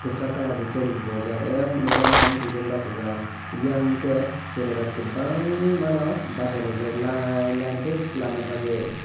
kisak colour ni chair rok bo bowjak ayan madam dui jon basajak eyang ke cherai rok kobangma no basalaijak line line ke kwlana bagui.